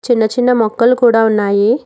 చిన్న చిన్న మొక్కలు కూడా ఉన్నాయి.